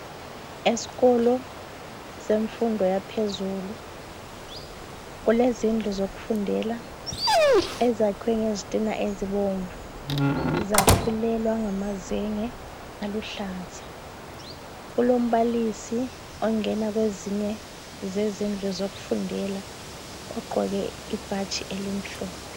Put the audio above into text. esikolo semfundo yaphezulu kulezindlu zokufundela ezakhwe ngezitina ezibomvu zafulelwa ngamazenge aluhlaza kulombalisi ongena kwezinye zezindlu zokufundela ogqoke ibhatshi elimhlophe